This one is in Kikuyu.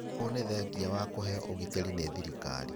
Ũũ nĩ thengia wao kũheo ũgitĩri nĩ thirikari